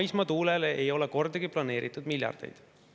Maismaatuule ei ole kordagi planeeritud miljardeid.